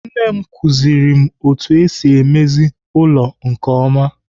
Nne m kụziri m otu esi emezi ụlọ nke ọma.